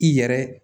I yɛrɛ